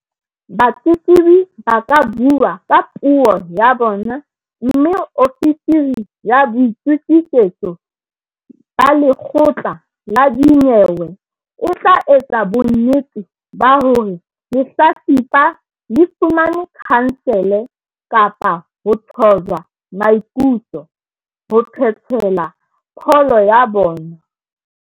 Batletlebi ba ka bua le ka puo ya bona mme ofisiri ya boitokisetso ba lekgotla la dinyewe e tla etsa bonnete ba hore lehlatsipa le fumane khansele kapa ho thojwa maikutlo, ho phethela pholo ya bona.